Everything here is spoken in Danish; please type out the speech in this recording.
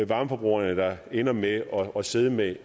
varmeforbrugerne der ender med at sidde med